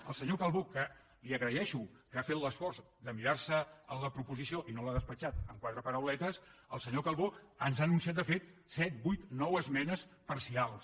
el senyor calbó que li agraeixo que ha fet l’esforç de mirar·se la proposició i no l’ha despatxat amb quatre parauletes el senyor calbó ens ha anunciat de fet set vuit nou esmenes parcials